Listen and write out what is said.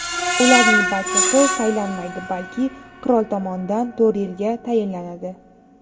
Ularning barchasi saylanmaydi, balki qirol tomonidan to‘rt yilga tayinlanadi.